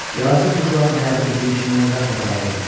Yazıq quşların həyatı bizimkindən qat-qat ağırdı.